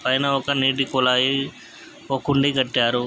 పైన ఒక నీటి కుళాయి ఒక కుండీ కట్టారు.